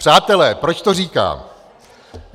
Přátelé, proč to říkám?